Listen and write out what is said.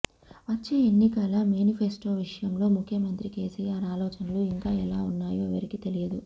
వచ్చే ఎన్నికల మేనిఫెస్టో విషయంలో ముఖ్యమంత్రి కేసీఆర్ ఆలోచనలు ఇంకా ఎలా ఉన్నయో ఎవరికీ తెలియదు